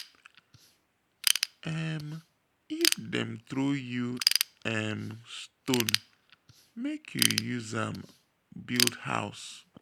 um if dem throw you um stone make you use am build house.